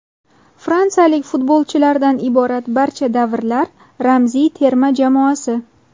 Fransiyalik futbolchilardan iborat barcha davrlar ramziy terma jamoasi.